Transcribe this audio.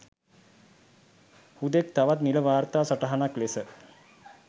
හුදෙක් තවත් නිල වාර්තා සටහනක් ලෙස